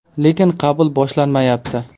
– Lekin qabul boshlanmayapti.